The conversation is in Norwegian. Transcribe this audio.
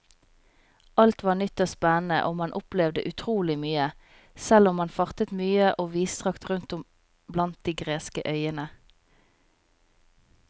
Alt var nytt og spennende og man opplevde utrolig mye, selv om man fartet mye og vidstrakt rundt om blant de greske øyene.